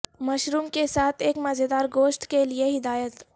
mushroom کے ساتھ ایک مزیدار گوشت کے لئے ہدایت